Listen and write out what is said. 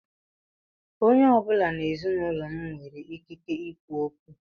Onye ọ bụla n'ezinaụlọ m nwere ikike ikwu okwu.